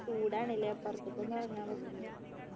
ചൂടാണ് ല്ലേ പുറത്തേക്കൊന്നു ഇറങ്ങാൻ